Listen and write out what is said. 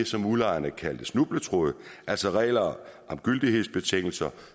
som udlejerne kaldte snubletråde altså regler om gyldighedsbetingelser